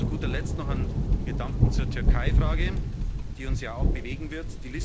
Und zu guter Letzt noch einen Gedanken zur Türkei Frage, die uns ja auch bewegen wird.